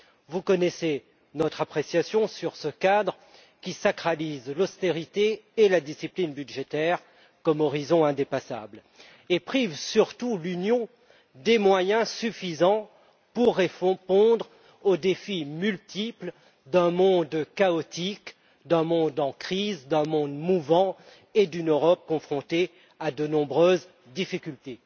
Vous connaissez notre appréciation sur ce cadre, qui sacralise l'austérité et la discipline budgétaire comme horizon indépassable et prive surtout l'Union des moyens suffisants pour répondre aux défis multiples d'un monde chaotique, d'un monde en crise, d'un monde mouvant et d'une Europe confrontée à de nombreuses difficultés.